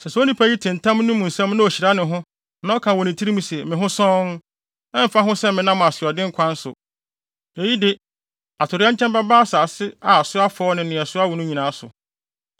Sɛ saa onipa no te ntam yi mu nsɛm na ohyira ne ho, na ɔka wɔ ne tirim se, “Me ho sɔnn, ɛmfa ho sɛ menam asoɔden kwan so.” Eyi de atoyerɛnkyɛm bɛba asase a so afɔw ne nea so awo no nyinaa so.